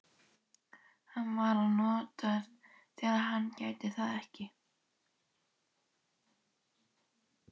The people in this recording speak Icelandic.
Hann var að vonast til að hann gæti það ekki.